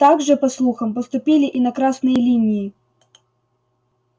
так же по слухам поступили и на красной линии